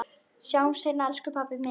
Sjáumst seinna elsku pabbi minn.